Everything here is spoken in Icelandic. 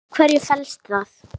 En í hverju felst það?